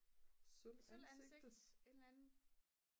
sølvansigt et eller andet